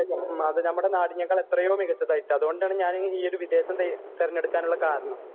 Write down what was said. വിദേശം, നമ്മുടെ നാടിനേക്കാൾ എത്രയോ മികച്ചതായിട്ട്. അതുകൊണ്ടാണ് ഞാൻ ഈയൊരു വിദേശം തെരഞ്ഞെടുക്കാനുള്ള കാരണം...